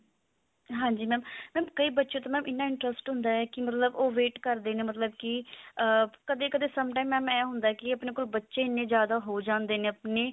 ਹਾਂਜੀ mam mam ਕਈ ਬੱਚੇ ਤਾਂ mam ਇੰਨਾ interest ਹੁੰਦਾ ਹੈ ਕੀ ਮਤਲਬ ਉਹ wait ਕਰਦੇ ਨੇ ਕੀ ਕਦੇ ਕਦੇ sometime mam ਇਹ ਹੁੰਦਾ ਕੀ ਆਪਣੇ ਕੋ ਬ੍ਚ੍ਹੇ ਇੰਨੇ ਜਿਆਦਾ ਹੋ ਜਾਂਦੇ ਨੇ ਆਪਣੇ